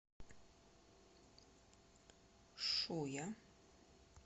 шуя